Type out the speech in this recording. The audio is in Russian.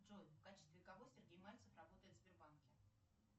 джой в качестве кого сергей мальцев работает в сбербанке